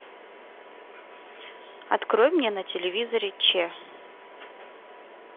открой мне на телевизоре че